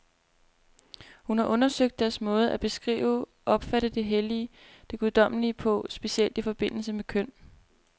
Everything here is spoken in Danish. Hun har undersøgt deres måde at beskrive, opfatte det hellige, det guddommelige på, specielt i forbindelse med køn.